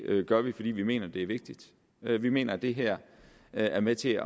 gør vi fordi vi mener at det er vigtigt vi mener at det her er med til